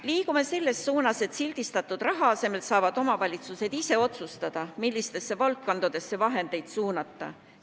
Liigume selles suunas, et sildistatud raha asemel saavad omavalitsused ise otsustada, millistesse valdkondadesse vahendeid suunata.